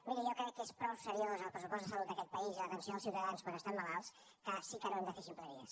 miri jo crec que és prou seriós el pressupost de salut d’aquest país i l’atenció dels ciutadans quan estan malalts que ara sí que no hem de fer ximpleries